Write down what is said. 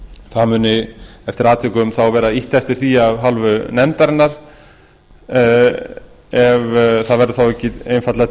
það muni eftir atvikum þá vera ýtt á eftir því af hálfu nefndarinnar ef það verður þá ekki einfaldlega